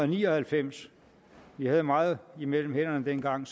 ni og halvfems vi havde meget mellem hænderne dengang